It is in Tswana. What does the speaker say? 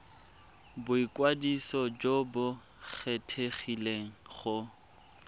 boikwadiso jo bo kgethegileng go